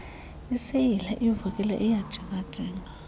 iseyile ivulekile iyajingajinga